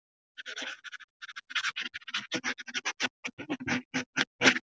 Vissulega stóð mér ekki á sama um þig.